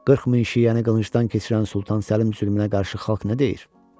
40 min şiəni qılıncdan keçirən Sultan Səlim zülmünə qarşı xalq nə deyir?